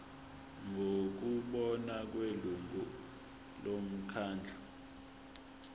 ngokubona kwelungu lomkhandlu